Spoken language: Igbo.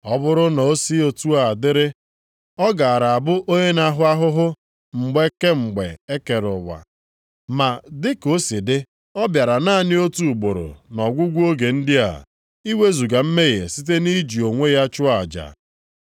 Ọ bụrụ na o si otu a dịrị, ọ gaara abụ onye na-ahụ ahụhụ mgbe kemgbe e kere ụwa. Ma, dị ka o si dị, ọ bịara naanị otu ugboro nʼọgwụgwụ oge ndị a, iwezuga mmehie site nʼiji onwe ya chụọ aja.